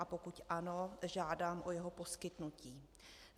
A pokud ano, žádám o jeho poskytnutí.